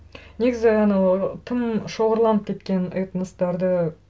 негізі анау тым шоғырланып кеткен этностарды